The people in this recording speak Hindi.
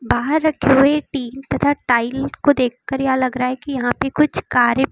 बाहर रखे हुए टिन तथा टाइल को देखकर यह लग रहा है कि यहां पे कुछ कारें --